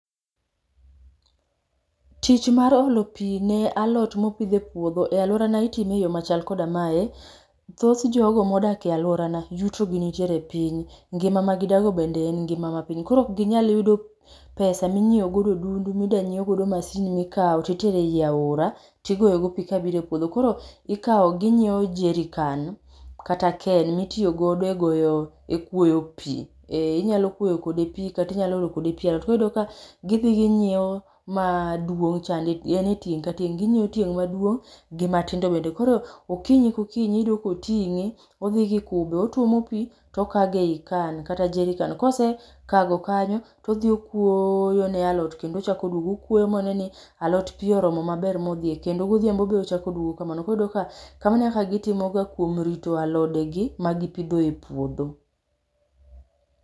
Tich mar olo pi ne alot mopidh e puodho e alworana itime e yo machal koda mae. Thoth jogo modak e alworana yuto gi nitire piny, ngima ma gidago bende en ngima ma piny. Koro ok ginyal yudo pesa minyiewo godo odundu, midwa nyiewo godo masin mikawo titere i aora, tigoyo godo pi kabiro e puodho. Koro ikawo, ginyiewo jerrican kata can mitiyogodo e goyo, e kwoyo pi. Ee inyalo kwoyo kode pi, kata inyalo olo kode pi e alot. Koro iyudo ka, gidhi ginyiewo manduong' chande, enie tieng' ka tieng'. Ginyiewo tieng' maduong' gi ma tindo bende. Koro okinyi ka okinyi iyudo ka otingé, odhi gi kube, otuomo pi tokage ei can kata jerrican. Kosekago kanyo, to odhi okwoyo ne alot, kendo ochak oduogo. Okwoyo moneni, alot pi oromo maber modhie. Kendo godhiambo be ochak oduogo kamano. Koro iyudo ka kamano e kaka gitimoga kuom rito alodegi magipidho e puodho.